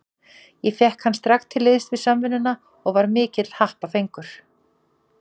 Fékk ég hann strax til liðs við Samvinnuna og var mikill happafengur.